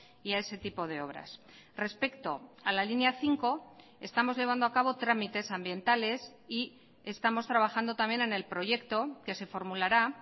y a ese tipo de obras respecto a la línea cinco estamos llevando acabo trámites ambientales y estamos trabajando también en el proyecto que se formulará